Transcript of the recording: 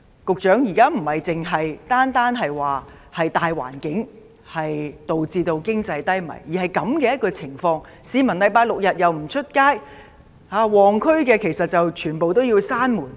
局長，現時不單是大環境導致經濟低迷，而是出現了這些情況，市民周末和周日也不出門，旺區的商店又被迫關門。